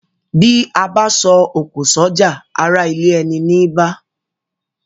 Bí abá so òkò sójà ará ilé eni ní bá